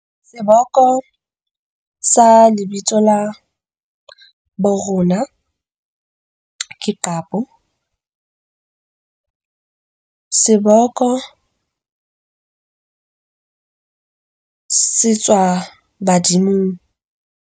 Seboko sa lebitso la bo rona ke qapo, seboko se tswa badimong.